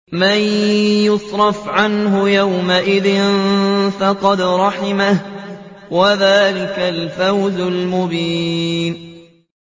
مَّن يُصْرَفْ عَنْهُ يَوْمَئِذٍ فَقَدْ رَحِمَهُ ۚ وَذَٰلِكَ الْفَوْزُ الْمُبِينُ